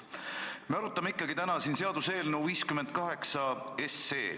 Me arutame ikkagi seaduseelnõu 58.